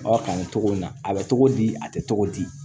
Aw kan nin cogo in na a bɛ togo di a tɛ tɔgɔ di